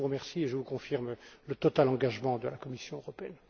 Je vous remercie et vous confirme le total engagement de la Commission européenne.